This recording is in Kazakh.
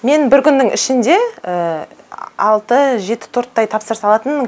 мен бір күннің ішінде алты жеті торттай тапсырыс алатынмын